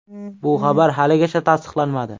Bu xabar haligacha tasdiqlanmadi.